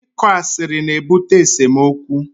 Ịkọ asịrị na-ebute esemokwu